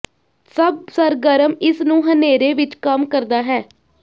ਸਭ ਸਰਗਰਮ ਇਸ ਨੂੰ ਹਨੇਰੇ ਵਿਚ ਕੰਮ ਕਰਦਾ ਹੈ